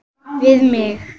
Við mig.